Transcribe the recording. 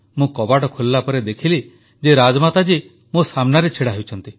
ମୁଁ କବାଟ ଖୋଲିଲାପରେ ଦେଖିଲି ଯେ ରାଜମାତା ଜୀ ମୋ ସାମ୍ନାରେ ଛିଡ଼ା ହୋଇଛନ୍ତି